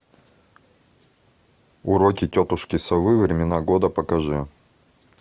уроки тетушки совы времена года покажи